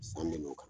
San kelen n'o kan